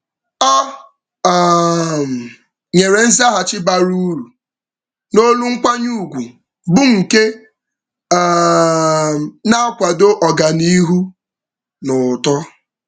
Ọ um nyere nzaghachi bara uru n'olu nkwanye ugwu bụ nke um na-akwado ọganiihu na uto.